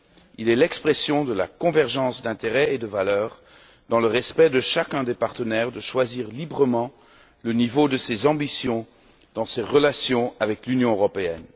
Il est l'expression de la convergence des intérêts et des valeurs dans le respect du droit de chacun des partenaires de choisir librement le niveau de ses ambitions dans ses relations avec l'Union européenne.